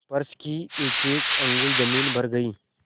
फर्श की एकएक अंगुल जमीन भर गयी